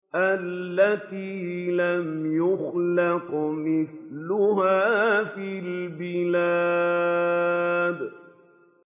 الَّتِي لَمْ يُخْلَقْ مِثْلُهَا فِي الْبِلَادِ